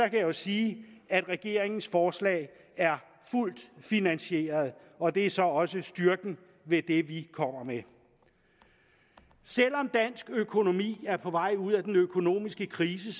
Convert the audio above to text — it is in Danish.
jeg jo sige at regeringens forslag er fuldt finansieret og det er så også styrken ved det vi kommer med selv om dansk økonomi er på vej ud af den økonomiske krise